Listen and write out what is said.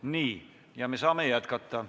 Nii, me saame jätkata.